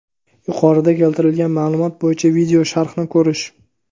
Yuqorida keltirilgan maʼlumot bo‘yicha video sharhni ko‘rish.